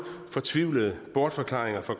fortvivlede bortforklaringer fra